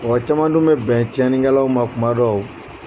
Wa caman dun bɛ bɛn tiɲɛni kɛlaw ma kuma dɔw.